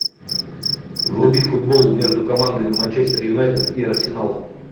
вруби футбол между командами манчестер юнайтед и арсенал